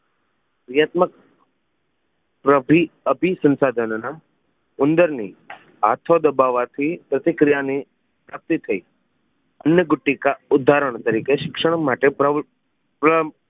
વ્યૂહાત્મક અભિ અભિસંસાધન નો ઉંદર ની હાથો દબાવા થી પ્રતિક્રિયા ની પ્રાપ્તિ થઈ અન્નકુટિકા ઉદારણ તરીકે શિક્ષણ માટે પ્ર પ્ર